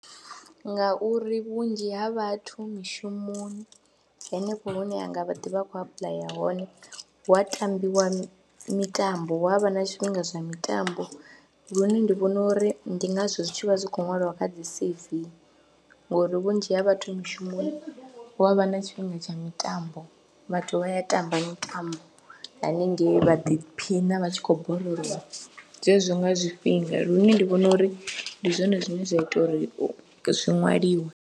Ngauri vhunzhi ha vhathu mishumoni hanefho hune a nga vha a kha ḓi apuḽaya hone hu a tambiwa mitambo, hu a vha na tshifhinga zwa mitambo lune ndi vhona uri ndi ngazwo zwi tshi vha zwi khou ṅwaliwa kha dzi C_V ngori vhunzhi ha vhathu mishumo hu a vha na tshifhinga tsha mitambo, vhathu vha ya tamba mitambo haningei vha ḓiphina vha tshi khou borolowa zwezwo nga zwifhinga lune ndi vhona uri ndi zwone zwine zwa ita uri zwi ṅwaliwe.